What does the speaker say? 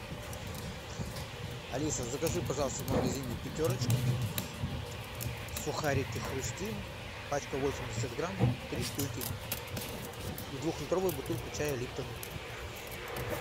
алиса закажи пожалуйста в магазине пятерочка сухарики хрустим пачка восемьдесят грамм три штуки и двухлитровую бутылку чая липтон